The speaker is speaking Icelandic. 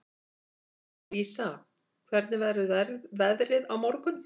Lísa, hvernig verður veðrið á morgun?